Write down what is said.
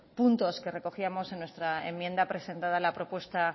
puntos que recogíamos en nuestra enmienda presentada en la propuesta